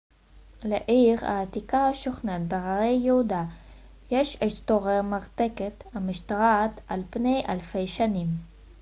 לעיר העתיקה השוכנת בהרי יהודה יש היסטוריה מרתקת המשתרעת על פני אלפי שנים